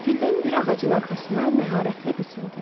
Qəfildən bir ağacın arxasına məharətlə qısıldı.